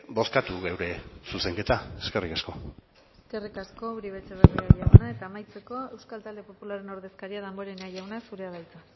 bozkatu gure zuzenketa eskerrik asko eskerrik asko uribe etxebarria jauna eta amaitzeko euskal talde popularraren ordezkaria damborena jauna zurea da hitza